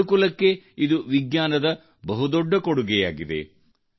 ಮನುಕುಲಕ್ಕೆ ಇದು ವಿಜ್ಞಾನದ ಬಹುದೊಡ್ಡ ಕೊಡುಗೆಯಾಗಿದೆ